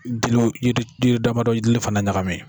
Diliw yiridili damadɔ dili fana ɲagami.